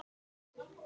Og svo ekkert meir.